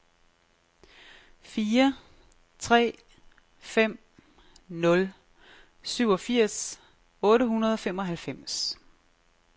fire tre fem nul syvogfirs otte hundrede og femoghalvfems